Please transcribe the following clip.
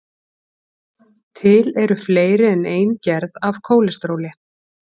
til eru fleiri en ein gerð af kólesteróli